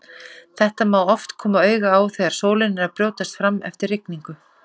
Þetta má oft koma auga á þegar sólin er að brjótast fram eftir rigningu.